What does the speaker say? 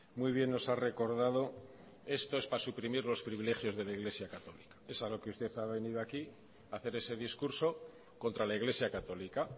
muy bien nos ha recordado esto es para suprimir los privilegios de la iglesia católica es a lo que usted ha venido usted aquí hacer ese discurso contra la iglesia católica